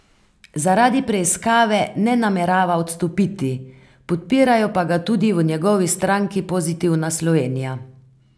Zaradi preiskave ne namerava odstopiti, podpirajo pa ga tudi v njegovi stranki Pozitivna Slovenija.